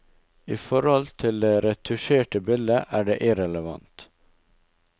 I forhold til det retusjerte bildet er det irrelevant.